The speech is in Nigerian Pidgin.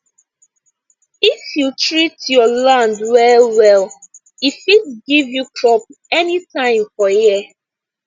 if you treat your land well well e fit give you crop anytime for year